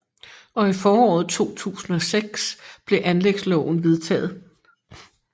Og i foråret 2006 blev anlægsloven vedtaget